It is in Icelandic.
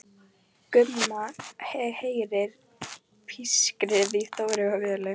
Gumma og heyrir pískrið í Þóru og Völu.